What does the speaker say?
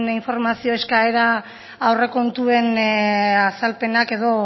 informazio eskaera aurrekontuen azalpenak edo